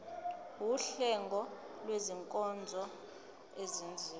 wuhlengo lwezinkonzo ezenziwa